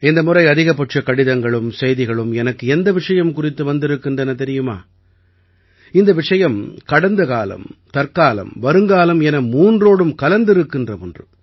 இந்த முறை அதிகபட்ச கடிதங்களும் செய்திகளும் எனக்கு எந்த விஷயம் குறித்து வந்திருக்கின்றன தெரியுமா இந்த விஷயம் கடந்தகாலம் தற்காலம் வருங்காலம் என மூன்றோடும் கலந்திருக்கின்ற ஒன்று